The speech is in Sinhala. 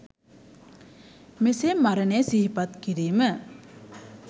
මෙසේ මරණය සිහිපත් කිරීම